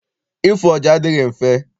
Ịfụ ọja adịghị mfe.